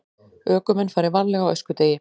Ökumenn fari varlega á öskudegi